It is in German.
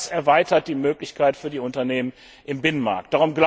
Allein das erweitert die Möglichkeit für die Unternehmen im Binnenmarkt.